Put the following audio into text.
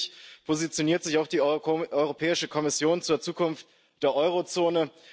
Und endlich positioniert sich auch die Europäische Kommission zur Zukunft der Euro Zone.